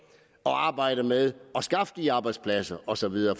arbejde med at skaffe de arbejdspladser og så videre